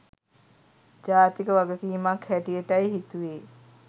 ජාතික වගකීමක් හැටියටයි හිතුවේ.